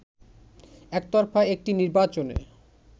একতরফা একটি নির্বাচনে